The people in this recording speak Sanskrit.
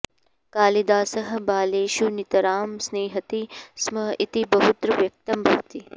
कालिदासः बालेषु नितरां स्निह्यति स्म इति बहुत्र व्यक्तं भवति